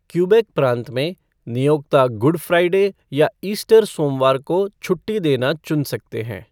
Quebec प्रांत में, "नियोक्ता गुड फ़्राइडे या ईस्टर सोमवार को छुट्टी देना चुन सकते हैं।"